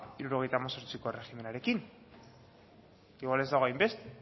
hirurogeita hemezortziko erregimenarekin igual ez dago hainbeste